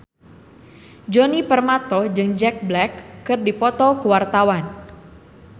Djoni Permato jeung Jack Black keur dipoto ku wartawan